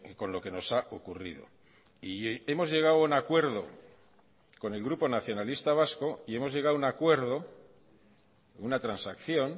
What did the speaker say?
con lo que nos ha ocurrido y hemos llegado a un acuerdo con el grupo nacionalista vasco y hemos llegado a un acuerdo una transacción